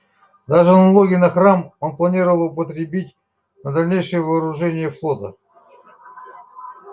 даже налоги на храм он планировал употребить на дальнейшее вооружение флота